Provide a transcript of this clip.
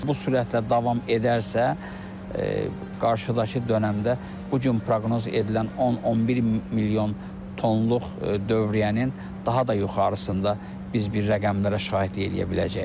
Bu sürətlə davam edərsə qarşıdakı dönəmdə bu gün proqnoz edilən 10-11 milyon tonluq dövriyyənin daha da yuxarısında biz bir rəqəmlərə şahidlik eləyə biləcəyik.